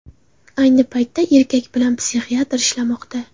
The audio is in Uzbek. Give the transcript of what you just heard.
Ayni paytda erkak bilan psixiatr ishlamoqda.